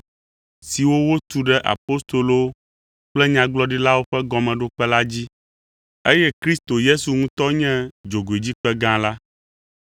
siwo wotu ɖe apostolowo kple nyagblɔɖilawo ƒe gɔmeɖokpe la dzi, eye Kristo Yesu ŋutɔ nye dzogoedzikpe gã la.